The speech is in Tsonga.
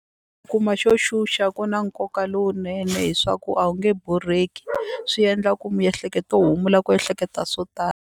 Kuma xo xuxa ku na nkoka lowunene hi swa ku a wu nge borheki swi endla ku miehleketo u humula ku ehleketa swo tala.